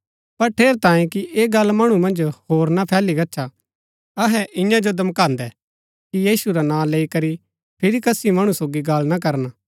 पर ठेरैतांये कि ऐह गल्ल मणु मन्ज होर ना फैली गच्छा अहै इन्या जो धमकान्दै कि यीशु रा नां लैई करी फिरी कसी मणु सोगी गल्ल ना करन